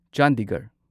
Chandigarh